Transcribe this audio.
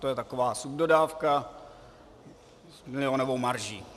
To je taková subdodávka s milionovou marží.